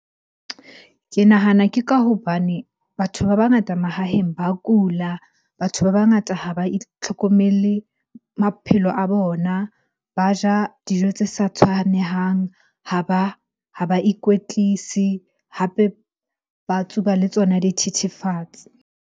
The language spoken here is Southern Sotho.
Ke nahana ke ka hobane batho ba bangata mahaheng ba kula, batho ba bangata ha ba itlhokomele maphelo a bona. Ba ja dijo tse sa tshwanehang, ha ba ikwetlise, hape ba tsuba le tsona dithethefatsi.